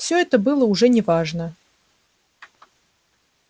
всё это было уже не важно